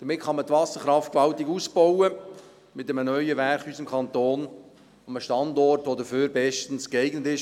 Damit kann man die Wasserkraft gewaltig ausbauen, mit einem neuen Werk in unserem Kanton, einem Standort, der dafür bestens geeignet ist.